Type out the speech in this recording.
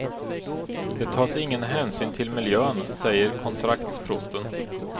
Det tas ingen hänsyn till miljön, säger kontraktsprosten.